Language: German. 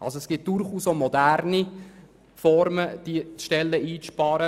Es gibt durchaus moderne Möglichkeiten, diese Stellenprozente einzusparen.